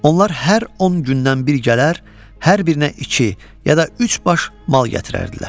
Onlar hər 10 gündən bir gələr, hər birinə iki, ya da üç baş mal gətirərdilər.